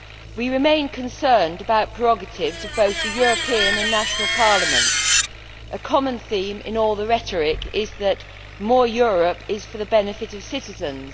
We remain concerned about prerogatives of both the European and national parliaments. A common theme in all the rhetoric is that more Europe' is for the benefit of citizens.